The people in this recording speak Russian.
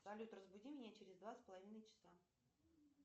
салют разбуди меня через два с половиной часа